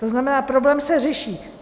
To znamená, problém se řeší.